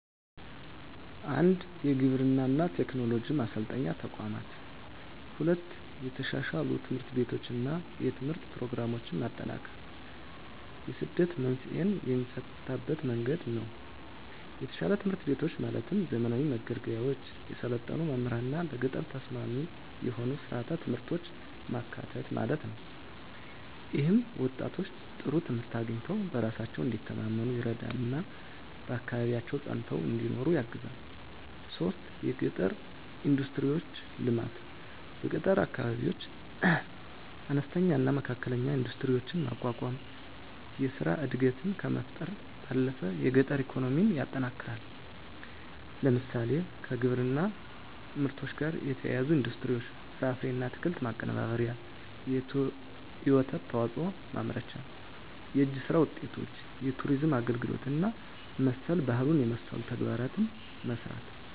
1. የግብርና ቴክኖሎጂ ማሰልጠኛ ተቋማት 2. የተሻሻሉ ትምህርት ቤቶችና የትምህርት ፕሮግራሞች ማጠናከር የስደት መንስኤን የሚፈታበት መንገድ ነው የተሻሻሉ ትምህርት ቤቶች ማለትም ዘመናዊ መገልገያዎች፣ የሰለጠኑ መምህራንና ለገጠር ተስማሚ የሆኑ ሥርዓተ ትምህርቶች ማካተት ማለት ነው። ይህም ወጣቶች ጥሩ ትምህርት አግኝተው በራሳቸው እንዲተማመኑ ይረዳልና በአካባቢያቸው ፀንተው እንዲኖሩ ያግዛል 3. የገጠር ኢንዱስትሪዎች ልማት በገጠር አካባቢዎች አነስተኛና መካከለኛ ኢንዱስትሪዎችን ማቋቋም የሥራ ዕድልን ከመፍጠር ባለፈ የገጠር ኢኮኖሚን ያጠናክራል። ለምሳሌ፣ ከግብርና ምርቶች ጋር የተያያዙ ኢንዱስትሪዎች (ፍራፍሬና አትክልት ማቀነባበሪያ፣ የወተት ተዋጽኦ ማምረቻ)፣ የእጅ ሥራ ውጤቶች፣ የቱሪዝም አገልግሎት እና መሠል ባህሉን የመሠሉ ተግባራትን መሥራት